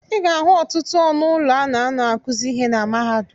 Ị ga-ahụ ọtụtụ ọnụ ụlọ a na-anọ akụzị ịhe na mahadum.